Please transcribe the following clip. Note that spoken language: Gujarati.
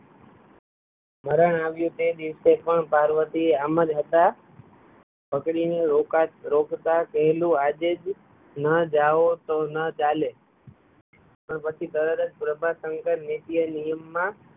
મરણ આવ્યુ તે દિવસે પણ પાર્વતી આમજ હતા પકડીને રોકતા કહેલું આજે જ ના જાવ તો ના ચાલે પણ પછી તરત જ પ્રભાશંકર નિત્ય નિયમ માં